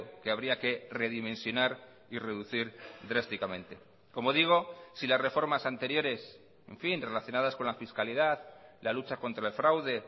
que habría que redimensionar y reducir drásticamente como digo si las reformas anteriores en fin relacionadas con la fiscalidad la lucha contra el fraude